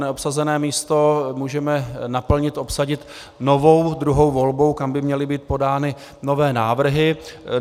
Neobsazené místo můžeme naplnit, obsadit novou druhou volbou, kam by měly být podány nové návrhy.